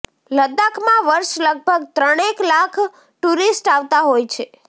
લદ્દાખમાં વર્ષે લગભગ ત્રણેક લાખ ટુરિસ્ટ આવતા હોય છે